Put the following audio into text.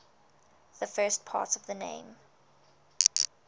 the first part of the name